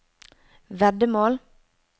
veddemål